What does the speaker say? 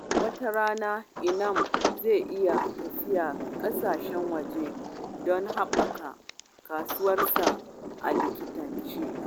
Wata rana, Inaam zai iya tafiya kasashen waje don haɓaka ƙwarewarsa a likitanci.